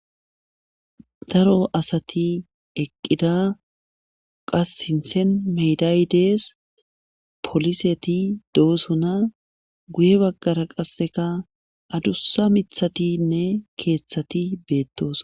daro asati eqqida qas sinsen meydaydees poliseti doosona guye baggara qasseka adussa mithatinne keeththati beettoos